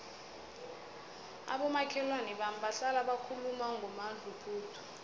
abomakhelwana bami bahlala bakhuluma ngomadluphuthu